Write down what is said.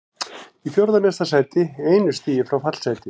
Í fjórða neðsta sæti, einu stigi frá fallsæti.